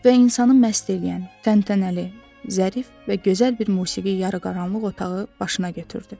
Və insanı məst eləyən təntənəli, zərif və gözəl bir musiqi yarıqaranlıq otağı başına götürdü.